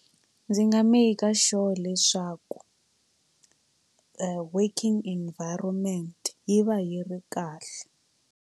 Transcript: Ndzi nga maker sure leswaku working environment yi va yi ri kahle.